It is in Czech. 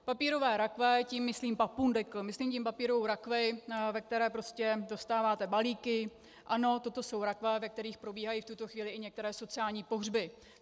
Papírové rakve, tím myslím papundekl, myslím tím papírovou rakev, ve které prostě dostáváte balíky, ano, toto jsou rakve, ve kterých probíhají v tuto chvíli i některé sociální pohřby.